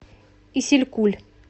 исилькуль